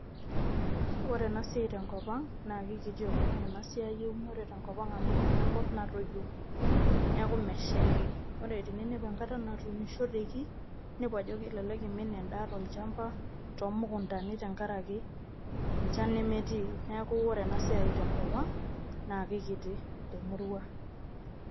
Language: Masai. Ore ena siai tenkop ang naa keikiti oleng ena siai eunore tenkop ang amu enkop natoyio neeku meshaiki, ore teninepu enkata natuunishoteki inepu ajo kelelek eimin endaa tolchamba toomukuntani tenkaraki enchan nemetii, neeku ore ena siai tenkop ang naa keikiti temurua